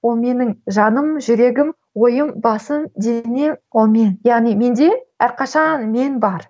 ол менің жаным жүрегім ойым басым денем ол мен яғни менде әрқашан мен бар